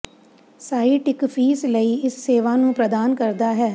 site ਇੱਕ fees ਲਈ ਇਸ ਸੇਵਾ ਨੂੰ ਪ੍ਰਦਾਨ ਕਰਦਾ ਹੈ